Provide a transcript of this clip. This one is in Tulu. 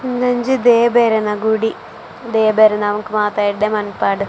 ಉಂದೊಂಜಿ ದೇವೆರ್ನ ಗುಡಿ ದೇವೆರ್ ನಮಕ್ ಮಾತ ಎಡ್ಡೆ ಮನ್ಪಡ್ .